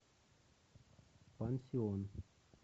пансион